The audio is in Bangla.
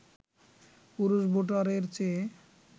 পুরুষ ভোটারের চেয়ে